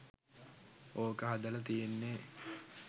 ඕක හදල තියෙන්නෙ.